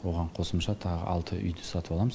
оған қосымша тағы алты үйді сатып аламыз